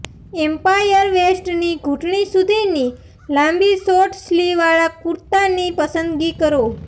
umpire વેસ્ટની ઘૂંટણી સુધીની લાંબી શોર્ટ સ્લી વાળા કુર્તાની પસંદગી કરો